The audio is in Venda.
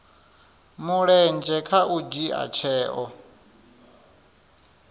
mulenzhe kha u dzhia tsheo